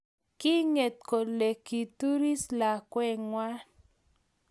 kiinget kole kituris lakwee ngwang